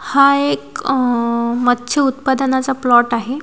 हा एक अ मत्स्य उत्पादनाचा प्लॉट आहे.